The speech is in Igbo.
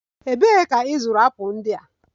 Ebee ka ị zụrụ apụl ndị a?